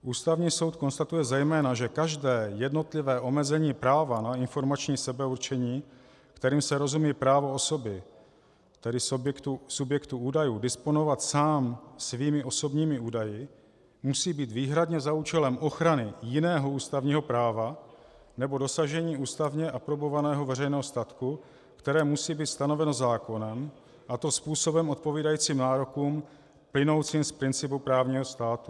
Ústavní soud konstatuje zejména, že každé jednotlivé omezení práva na informační sebeurčení, kterým se rozumí právo osoby, tedy subjektu údajů, disponovat sám svými osobními údaji, musí být výhradně za účelem ochrany jiného ústavního práva nebo dosažení ústavně aprobovaného veřejného statku, které musí být stanoveno zákonem, a to způsobem odpovídajícím nárokům plynoucím z principu právního státu.